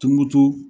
Tumutu